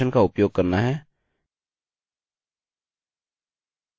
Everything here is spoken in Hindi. यह हमारे लिए डाइरेक्टरी को ओपन करेगा